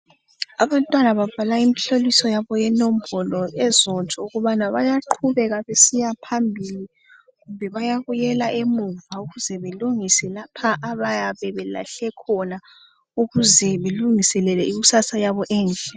Abantwana babhala imhloliso yabo yenombolo ezotsho ukuthi bayaqhubeka besiya phambili kumbe bayabuyela emuva ukuze belungise lapha abayabe belahle khona ukuze belungiselele ikusasa yabo enhle.